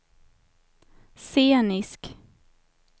scenisk